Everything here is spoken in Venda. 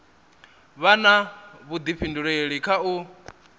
vha na vhudifhinduleli kha u